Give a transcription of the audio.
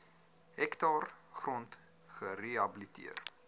hektaar grond gerehabiliteer